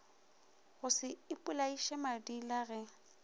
go še ipolaiše madila ge